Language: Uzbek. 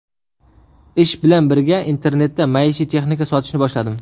Ish bilan birga internetda maishiy texnika sotishni boshladim.